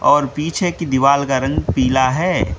और पीछे की दीवाल का रंग पीला है।